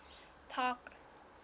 park